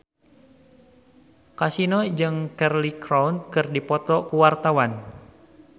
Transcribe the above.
Kasino jeung Cheryl Crow keur dipoto ku wartawan